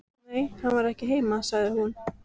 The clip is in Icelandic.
Nei, hann var ekki heima, sagði hún.